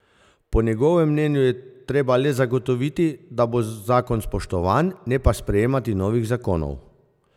Po njegovem mnenju je treba le zagotoviti, da bo zakon spoštovan, ne pa sprejemati novih zakonov.